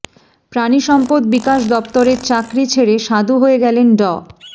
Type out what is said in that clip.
প্রাণিসম্পদ বিকাশ দপ্তরের চাকরি ছেড়ে সাধু হয়ে গেছেন ড